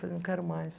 Falei, não quero mais.